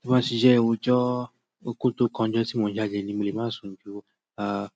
Tí mo bá sì jẹ́ ojó oko tó kánjọ tí mò ń jáde ni, mi ò lè má sun ju ah